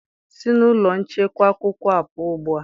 Si na ụlọ nchekwa akwụkwọ a pụọ ugbu a!